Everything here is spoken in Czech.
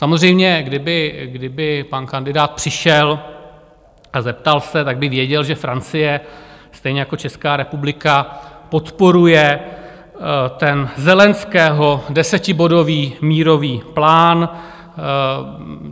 Samozřejmě kdyby pan kandidát přišel a zeptal se, tak by věděl, že Francie stejně jako Česká republika podporuje ten Zelenského desetibodový mírový plán.